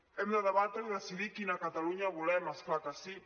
hem de debatre i decidir quina catalunya volem és clar que sí